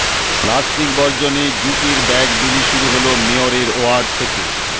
plastic বর্জনে জুটের bag বিলি শুরু হল মেয়রের ওয়ার্ড থেকে